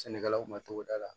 Sɛnɛkɛlaw ma cogo da la